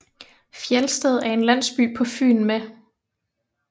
Fjelsted er en landsby på Fyn med